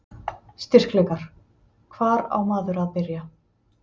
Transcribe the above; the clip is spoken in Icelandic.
Styrkleikar: Hvar á maður að byrja?